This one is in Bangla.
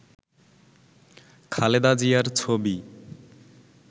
খালেদা জিয়ার ছবি